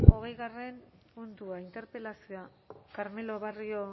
gai zerrendako hogei puntua interpelazioa carmelo barrio